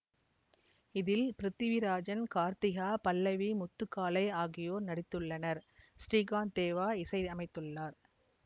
இதில் பிரித்திவிராஜன் கார்திகா பல்லவி முத்துகாளை ஆகியோர் நடித்துள்ளனர் ஸ்ரீகாந்த் தேவா இசையமைத்துள்ளார்